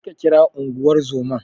Tafi ka kira Unguwar zoman.